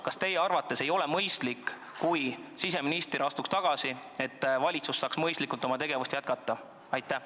Kas teie arvates ei oleks arukas, et siseminister astuks tagasi ja valitsus saaks mõistlikult oma tegevust jätkata?